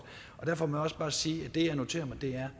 derfor må jeg også bare sige at det jeg noterer mig er